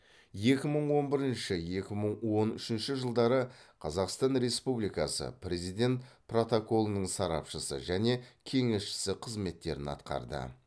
екі мың он бірінші екі мың он үшінші жылдары қазақстан республикасы президент протоколының сарапшысы және кеңесшісі қызметтерін атқарды